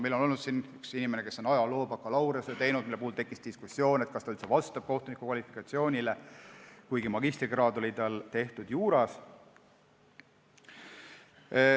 Meil on olnud tööl üks inimene, kes on bakalaureusetöö teinud ajaloos, ja siis tekkis diskussioon, kas ta üldse vastab kohtuniku kvalifikatsiooninormidele, kuigi magistrikraad oli tal juuras.